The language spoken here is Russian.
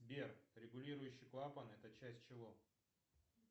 сбер регулирующий клапан это часть чего